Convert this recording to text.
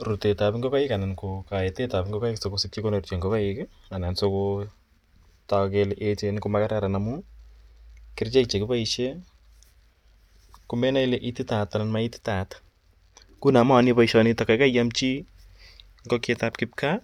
Rutet ap ngokaik anan kaetet ap ngokaik si kopit kolakcha ngokaik anan si kotak kele echen ko makararan amu kerichek che kipaishe ko menae ile ititaat anan ko ma ititaat. Nguno ko mayani poishonitok, kaikai iam chi ngokiek ap kikpkaa